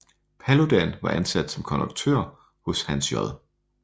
Paludan var ansat som konduktør hos Hans J